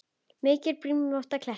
Mikið er brimrót við kletta.